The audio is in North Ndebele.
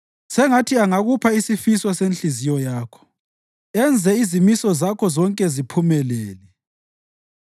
Sengathi angakupha isifiso senhliziyo yakho enze izimiso zakho zonke ziphumelele.